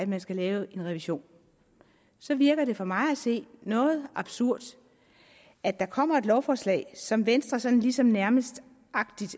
man skal lave en revision så virker det for mig at se noget absurd at der kommer et lovforslag som venstre sådan ligesom nærmest